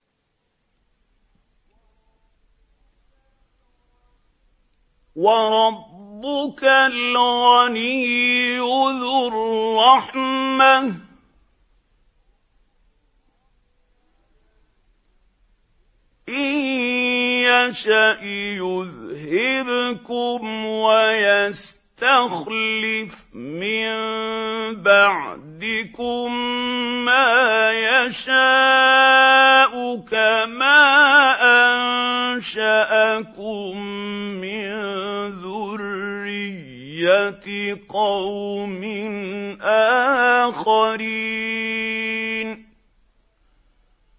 وَرَبُّكَ الْغَنِيُّ ذُو الرَّحْمَةِ ۚ إِن يَشَأْ يُذْهِبْكُمْ وَيَسْتَخْلِفْ مِن بَعْدِكُم مَّا يَشَاءُ كَمَا أَنشَأَكُم مِّن ذُرِّيَّةِ قَوْمٍ آخَرِينَ